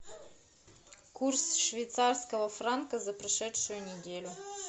курс швейцарского франка за прошедшую неделю